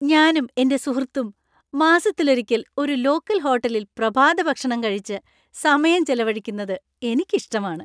ഞാനും എന്‍റെ സുഹൃത്തും മാസത്തിലൊരിക്കൽ ഒരു ലോക്കൽ ഹോട്ടലിൽ പ്രഭാതഭക്ഷണം കഴിച്ച് സമയം ചെലവഴിക്കുന്നത് എനിക്ക് ഇഷ്ടമാണ്.